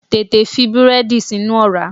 Tètè fi búrẹ́dì sínú ọ̀rá!